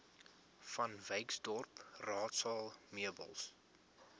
vanwyksdorp raadsaal meubels